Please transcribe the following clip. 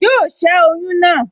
Yóò ṣẹ́ oyún náà